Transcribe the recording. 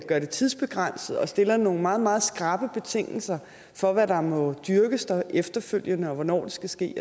det tidsbegrænset og stille nogle meget meget skrappe betingelser for hvad der må dyrkes der efterfølgende og hvornår det skal ske